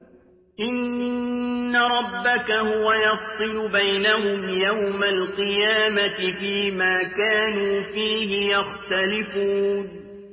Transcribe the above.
إِنَّ رَبَّكَ هُوَ يَفْصِلُ بَيْنَهُمْ يَوْمَ الْقِيَامَةِ فِيمَا كَانُوا فِيهِ يَخْتَلِفُونَ